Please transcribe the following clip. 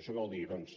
això què vol dir doncs